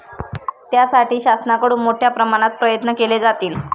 त्यासाठी शासनाकडून मोठ्या प्रमाणात प्रयत्न केले जातील.